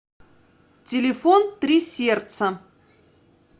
телефон три сердца